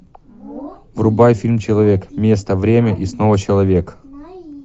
врубай фильм человек место время и снова человек